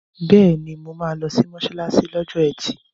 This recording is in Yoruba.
Bẹ́ẹ̀ni, mo máa lọ sí mọ́ṣáláṣí lọ́jọ́ ẹtì.